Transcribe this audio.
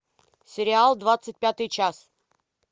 сериал двадцать пятый час